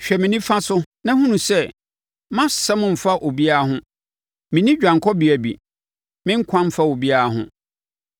Hwɛ me nifa so na hunu sɛ; mʼasɛm mfa obiara ho; menni dwanekɔbea bi; me nkwa mfa obiara ho.